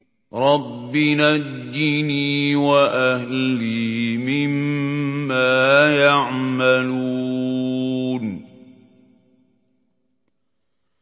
رَبِّ نَجِّنِي وَأَهْلِي مِمَّا يَعْمَلُونَ